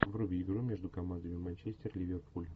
вруби игру между командами манчестер ливерпуль